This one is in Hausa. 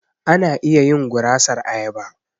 Ana iya yin gurasar ayaba.